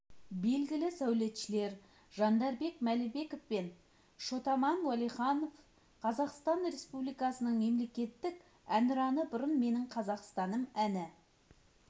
белгілі сәулетшілер жандарбек мәлібеков пен шот-аман уәлиханов қазақстан республикасының мемлекеттік әнұраны бұрын менің қазақстаным әні